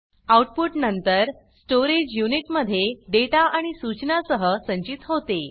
output नंतर storage unit मध्ये data आणि सूचना सह संचित होते